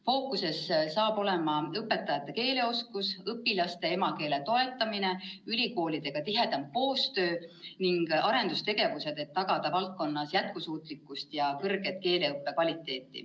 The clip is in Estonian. Fookuses saab olema õpetajate keeleoskus, õpilaste emakeele toetamine, tihedam koostöö ülikoolidega ning arendustegevused, et tagada valdkonna jätkusuutlikkus ja keeleõppe kõrge kvaliteet.